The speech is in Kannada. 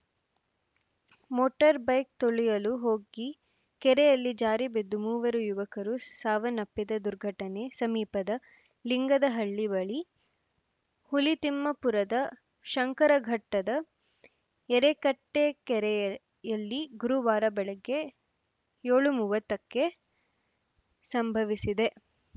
ಮೋಟಾರ್‌ ಬೈಕ್‌ ತೊಳೆಯಲು ಹೋಗಿ ಕೆರೆಯಲ್ಲಿ ಜಾರಿ ಬಿದ್ದು ಮೂವರು ಯುವಕರು ಸಾವನ್ನಪ್ಪಿದ ದುರ್ಘಟನೆ ಸಮೀಪದ ಲಿಂಗದಹಳ್ಳಿ ಬಳಿ ಹುಲಿತಿಮ್ಮಾಪುರದ ಶಂಕರಘಟ್ಟದ ಎರೆಕಟ್ಟೆ ಕೆರೆಯಲ್ಲಿ ಗುರುವಾರ ಬೆಳಗ್ಗೆ ಏಳು ಮೂವತ್ತಕ್ಕೆ ಸಂಭವಿಸಿದೆ